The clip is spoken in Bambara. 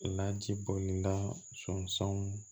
Laji boda sɔngɔnsɔnw